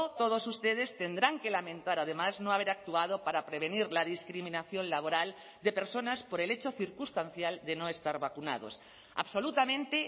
todos ustedes tendrán que lamentar además no haber actuado para prevenir la discriminación laboral de personas por el hecho circunstancial de no estar vacunados absolutamente